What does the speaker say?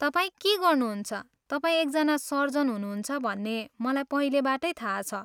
तपाईँ के गर्नुहुन्छ, तपाईं एकजना सर्जन हुनुहुन्छ भन्ने मलाई पहिलेबाटै थाहा छ।